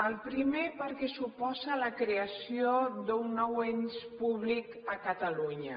el primer perquè suposa la creació d’un nou ens públic a catalunya